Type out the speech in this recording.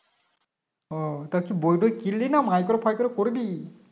ও তা কি বই টই কিনলি না Micro faikro করবি